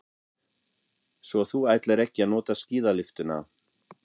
Svo þú ætlar ekki að nota skíðalyftuna.